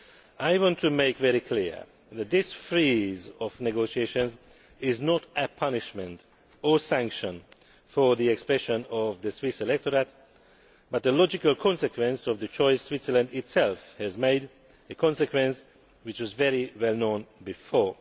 I want to make it very clear that this freeze on negotiations is not a punishment or sanction for the expression of the Swiss electorate, but a logical consequence of the choice Switzerland itself has made, a consequence which was very well known before.